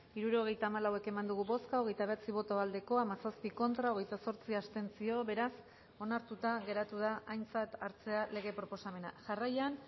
hirurogeita hamalau eman dugu bozka hogeita bederatzi boto aldekoa hamazazpi contra hogeita zortzi abstentzio beraz onartuta geratu da aintzat hartzea lege proposamena jarraian